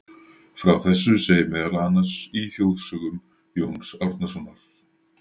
frá þessu segir meðal annars í þjóðsögum jóns árnasonar